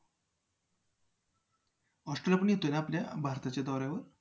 Australia पण येतोय ना आपल्या भारताच्या दौऱ्यावर?